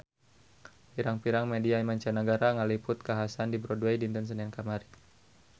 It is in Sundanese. Pirang-pirang media mancanagara ngaliput kakhasan di Broadway dinten Senen kamari